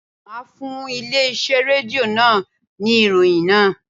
Máa fún ilé iṣẹ́ Rédíò náà ní ìròyìn náà.